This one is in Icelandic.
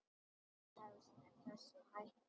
Það hefst með þessum hætti: